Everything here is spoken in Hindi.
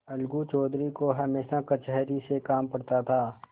अलगू चौधरी को हमेशा कचहरी से काम पड़ता था